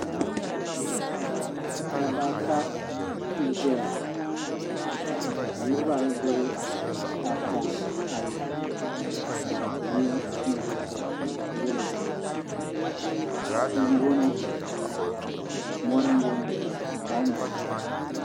Dabba ata n ʒɛya ka niraba ayi gbubi tahapona ayi ka yino mii gba ƶɛya ka yɛ liiga dozim tia n boŋo mori n boŋo kom n boŋo